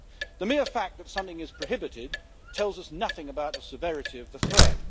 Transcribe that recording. The mere fact that something is prohibited tells us nothing about the severity of the threat.